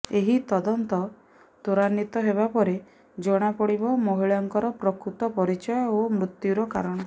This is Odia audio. ଏହି ତଦନ୍ତ ତ୍ୱରାନ୍ୱିତ ହେବା ପରେ ଜଣା ପଡ଼ିବ ମହିଳାଙ୍କର ପ୍ରକୃତ ପରିଚୟ ଓ ମୃତ୍ୟୁର କାରଣ